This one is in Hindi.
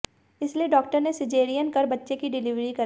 इसलिए डॉक्टर ने सीजेरियन कर बच्ची की डिलीवरी कराई